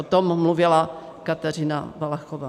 O tom mluvila Kateřina Valachová.